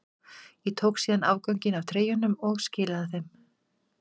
Ég tók síðan afganginn af treyjunum og skilaði þeim.